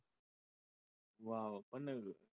wow